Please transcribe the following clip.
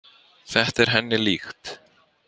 Þetta er henni líkt.